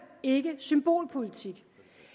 ikke symbolpolitik